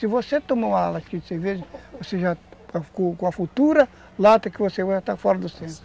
Se você tomar uma latinha de cerveja, você já ficou com a futura lata que você vai estar fora do senso